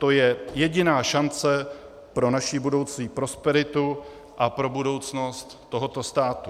To je jediná šance pro naši budoucí prosperitu a pro budoucnost tohoto státu.